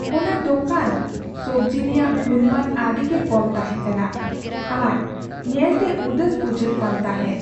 ᱚᱱᱟ ᱫᱚᱠᱟᱱ ᱥᱚᱵᱽᱡᱤ ᱨᱮᱭᱟᱜ ᱜᱩᱱᱢᱟᱱ ᱟᱹᱰᱤᱜᱮ ᱠᱚᱢ ᱛᱟᱦᱮᱸᱠᱟᱱᱟ ᱟᱨ ᱧᱮᱞᱛᱮ ᱩᱫᱟᱹᱥ ᱵᱩᱡᱷᱟᱹᱜ ᱠᱟᱱ ᱛᱟᱦᱮᱸᱜ ᱾